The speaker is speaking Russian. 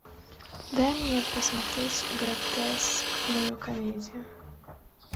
дай мне посмотреть гротескную комедию